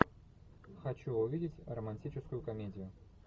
хочу увидеть романтическую комедию